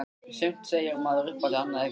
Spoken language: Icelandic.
Sumt segir maður upphátt- annað ekki.